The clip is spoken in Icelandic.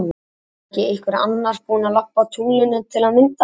Var þá ekki einhver annar búin að labba á tunglinu til að mynda hann?